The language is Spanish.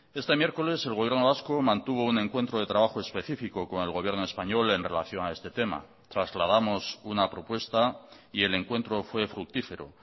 este miércoles el gobierno vasco mantuvo un encuentro de trabajo específico con el gobierno español en relación a este tema trasladamos una propuesta y el encuentro fue fructífero